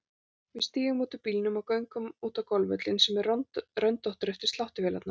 Við stígum út úr bílnum og göngum út á golfvöllinn sem er röndóttur eftir sláttuvélarnar.